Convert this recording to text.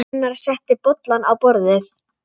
Gunnar setti bollana á borðið.